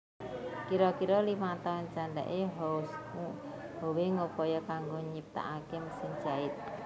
Kira kira limang taun candhake Howe ngupaya kanggo nyiptakake mesin jait